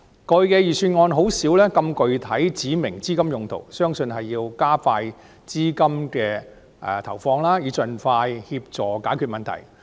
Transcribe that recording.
過去的預算案很少指明資金用途，相信此舉是為了加快投放資源，以助盡快解決問題。